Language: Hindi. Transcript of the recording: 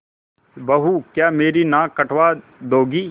बहू क्या मेरी नाक कटवा दोगी